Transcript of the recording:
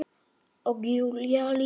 Og Júlía líka.